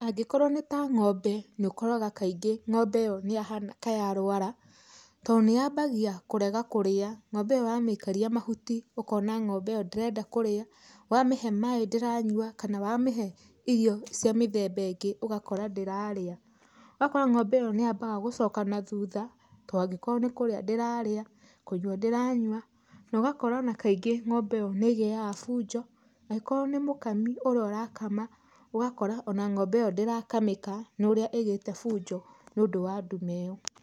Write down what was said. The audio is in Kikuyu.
Angĩkorwo nĩ ta ng'ombe nĩ ũkoraga kaingĩ ng'ombe ĩyo nĩ yahana ka yarũara to nĩ yambagia kũrega kũrĩa ng'ombe ĩyo wamĩikĩria ũkona ng'ombe ĩyo ndĩrenda kũrĩa, wamĩhe maĩ ndĩranyua kana wamĩhe irio cia mĩthemba ĩngĩ ũgakora ndĩrarĩa. Ũgakora ng'ombe ĩyo nĩyambaga gũcoka na thutha, to angĩkorwo nĩ kũrĩa ndĩrarĩa, kũnyua ndĩranyua no ũgakora ona kaingĩ ng'ombe ĩyo nĩĩgĩaga bunjo, angĩkorwo nĩ mũkami ũrĩa ũrakama ũgakora ona ng'ombe ĩyo ndĩrakamĩka nĩ ũrĩa ĩgĩte bunjo nĩ ũndũ wa ndume ĩyo.